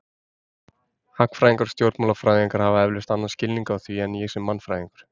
Hagfræðingar og stjórnmálafræðingar hafa eflaust annan skilning á því en ég sem mannfræðingur.